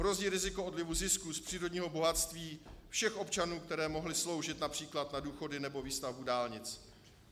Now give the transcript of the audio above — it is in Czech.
Hrozí riziko odlivu zisků z přírodního bohatství všech občanů, které mohly sloužit například na důchody nebo výstavbu dálnic.